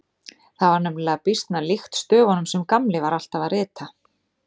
Það var nefnilega býsna líkt stöfunum sem Gamli var alltaf að rita.